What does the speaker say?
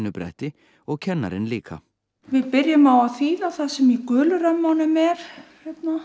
bretti og kennarinn líka við byrjum á að þýða það sem í gulu römmunum er hérna